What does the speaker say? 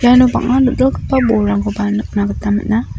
iano bang·a dal·dalgipa bolrangkoba nikna gita man·a.